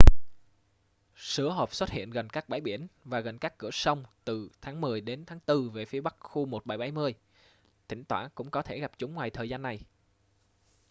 sứa hộp xuất hiện gần các bãi biển và gần các cửa sông từ tháng mười đến tháng tư về phía bắc khu 1770 thỉnh thoảng cũng có thể gặp chúng ngoài thời gian này